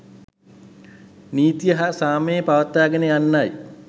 නීතිය හා සාමය පවත්වාගෙන යන්නයි.